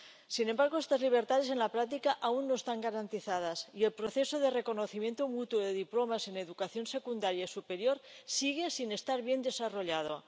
Sin embargo, estas libertades en la práctica aún no están garantizadas y el proceso de reconocimiento mutuo de diplomas en educación secundaria y superior sigue sin estar bien desarrollado.